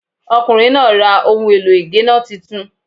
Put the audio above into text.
Ọkùnrin náà ra ohun èlò ì géná titun